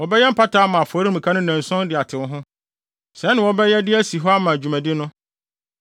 Wɔbɛyɛ mpata ama afɔremuka no nnanson de atew ho; sɛɛ na wɔbɛyɛ de asi hɔ ama dwumadi no.